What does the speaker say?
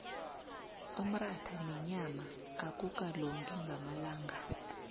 umratha nenyama akukalungi ngamalanga